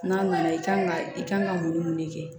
N'a nana i kan ka i kan ka mun ni mun de kɛ